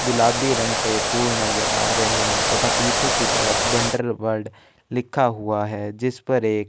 गुलाबी रंग के फुल नजर आ रहै हैं तथा पीछे की तरफ वंडर वर्ल्ड लिखा हुआ है जिस पर एक।